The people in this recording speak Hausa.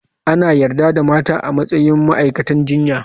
Ana yarda da mata a matsayin ma'aikatan jinya.